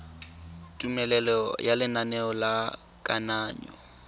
tumelelo ya lenaneo la kananyo